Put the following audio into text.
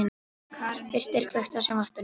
Birtir, kveiktu á sjónvarpinu.